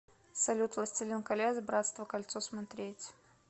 салют властелин колец братство кольцо смотреть